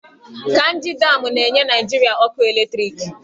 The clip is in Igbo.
Kainji damụ na-enye Naịjirịa ọkụ eletriki.